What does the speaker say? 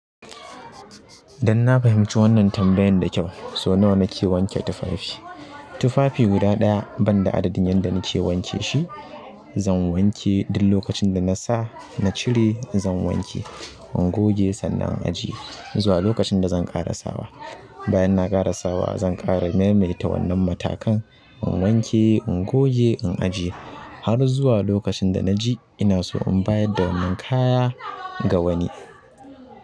Dan na fahimci wannan tambayan da kyau. So nawa nake wanke tufafi? Tufafi guda ɗaya banda adadin yanda nake wanke shi, zan wanke duk lokacin da na sa, na cire zan wanke, in goge sannan ajiye zuwa lokacin da zan karasawa. Bayan na karasawa zan ƙara maimaita wannan matakan. In wanke, in goge, in ajiye har zuwa lokacin da na ji ina so in bayar da wannan kaya ga wani.